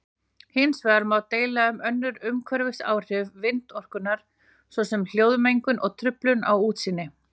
Hins vegar má deila um önnur umhverfisáhrif vindorkunnar svo sem hljóðmengun og truflun á útsýni.